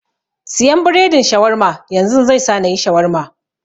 Siyan biredin Shawarma yanzun, zai sa nayi Shawarma.